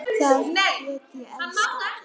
Þar get ég elskað alla.